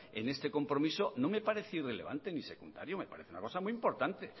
en este compromiso no me parece irrelevante ni secundario me parece una cosa muy importante